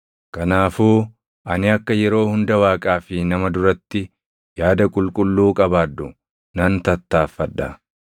Kanaafuu ani akka yeroo hunda Waaqaa fi nama duratti yaada qulqulluu qabaadhu nan tattaaffadha.